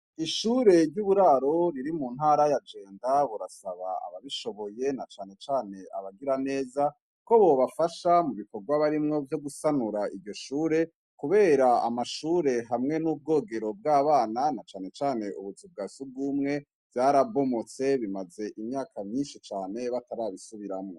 Ishure ry'uburaro riri mu ntara ya Jenda, burasaba ababishoboue na cane cane abagira neza ko bobafasha mu bikorwa narimwo vyo gusanura ishure kubera amashura hamwe nubwogero bw'abana na cane cane ubuzu bwa sugume bwarabomotse bumaze imyaka nyinshi cane batarazisubiramwo.